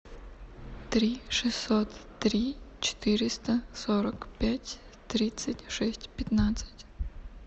три шестьсот три четыреста сорок пять тридцать шесть пятнадцать